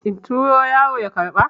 in turo yaro ya karɓa?